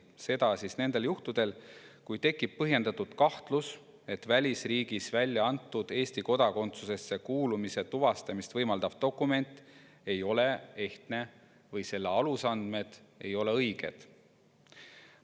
Seda siis nendel juhtudel, kui tekib põhjendatud kahtlus, et välisriigis väljaantud Eesti kodakondsusesse kuulumise tuvastamist võimaldav dokument ei ole ehtne või selle alusandmed ei ole õiged.